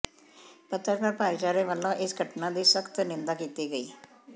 ਪੱਤਰਕਾਰ ਭਾਈਚਾਰੇ ਵੱਲੋਂ ਇਸ ਘਟਨਾ ਦੀ ਸਖਤ ਨਿੰਦਾ ਕੀਤੀ ਗਈ